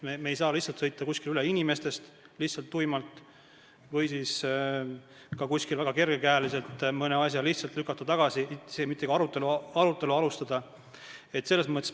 Me ei saa lihtsalt tuimalt sõita üle inimestest või väga kerge käega mõne asja tagasi lükata, isegi mitte arutelu alustades.